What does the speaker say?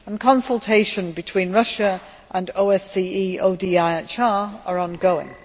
consultations between Russia and OSCE ODIHR are ongoing.